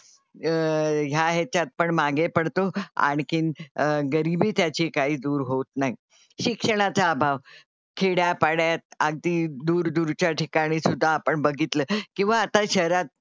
अह ह्या ह्याच्यात पण मागे पडतो आणखीन गरीबी त्याची काही दूर होत नाही. शिक्षणाचा अभाव. खेड्यापाड्यात अगदी दूरदूरच्या ठिकाणी सुद्धा आपण बघितलं किंवा आता शहरात,